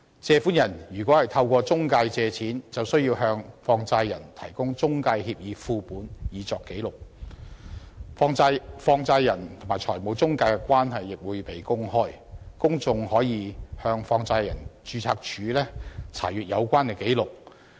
借款人如果透過中介公司借錢，就需要向放債人提供中介協議副本以作紀錄，放債人和中介公司的關係亦會被公開，公眾可以向放債人註冊處查閱有關紀錄。